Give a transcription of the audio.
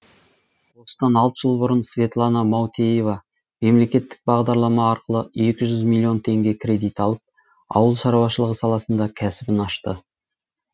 осыдан алты жыл бұрын светлана маутеева мемлекеттік бағдарлама арқылы екі жүз миллион теңге кредит алып ауыл шаруашылығы саласында кәсібін ашты